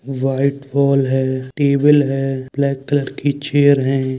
White wall है table है black colour की चेयर है।